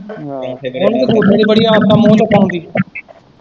ਆਹ ਇਹਨੂੰ ਸੁਣਨੇ ਦੀ ਬੜੀ ਆਦਤ ਏ ਮੂੰਹ ਲਕਾਉਣ ਦੀ।